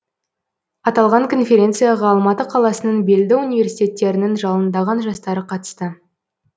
аталған конференцияға алматы қаласының белді университеттерінің жалындаған жастары қатысты